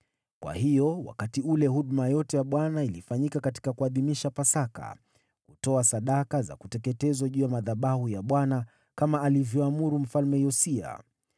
Kwa hiyo wakati ule huduma yote ya Bwana ilifanyika katika kuadhimisha Pasaka, kutoa sadaka za kuteketezwa juu ya madhabahu ya Bwana kama alivyoamuru Mfalme Yosia.